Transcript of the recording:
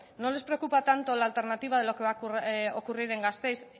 no les preocupa tanto la alternativa de lo que va a ocurrir en gasteiz